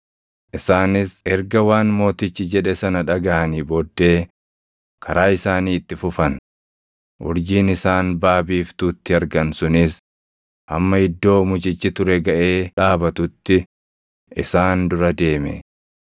Isaanis erga waan mootichi jedhe sana dhagaʼanii booddee karaa isaanii itti fufan; urjiin isaan baʼa biiftuutti argan sunis hamma iddoo mucichi ture gaʼee dhaabatutti isaan dura deeme.